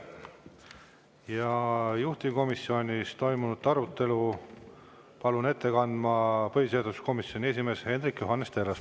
Juhtivkomisjonis toimunud arutelu palun ette kandma põhiseaduskomisjoni esimehe Hendrik Johannes Terrase.